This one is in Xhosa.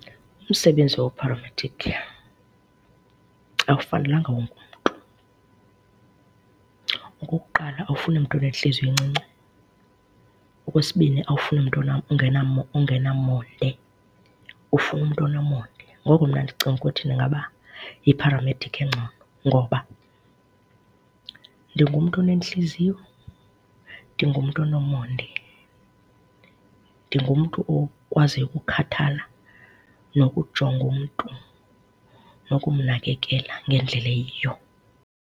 Umsebenzi wopharamedikhi akufanelanga wonke umntu. Okokuqala awufuni mntu unentliziyo encinci, okwesibini awufuni mntu ongenamonde. Ufuna umntu onomonde. Ngoko mna ndicinga ukuthi ndingaba yipharamedikhi engcono ngoba ndingumntu onentliziyo, ndingumntu onomonde, ndingumntu okwaziyo ukukhathala nokujonga umntu nokumnakekela ngendlela eyiyo.